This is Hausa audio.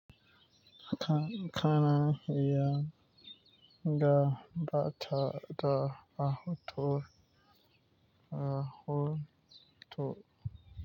Ka-kana ya ga ba ta da ahutu, ahutu.